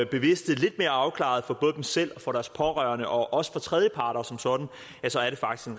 bevidste lidt mere afklaret for både dem selv deres pårørende og også tredjeparter som sådan